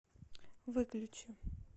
выключи